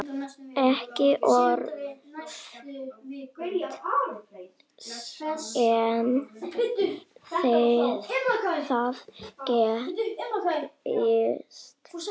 Ekki oft sem það gerist.